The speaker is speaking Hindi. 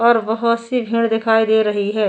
और बहुत सी भीड़ दिखाई दे रही है --